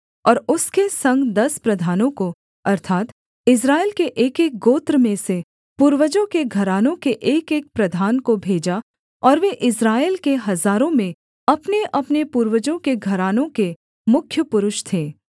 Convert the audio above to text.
और उसके संग दस प्रधानों को अर्थात् इस्राएल के एकएक गोत्र में से पूर्वजों के घरानों के एकएक प्रधान को भेजा और वे इस्राएल के हजारों में अपनेअपने पूर्वजों के घरानों के मुख्य पुरुष थे